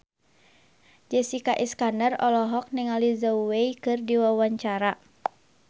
Jessica Iskandar olohok ningali Zhao Wei keur diwawancara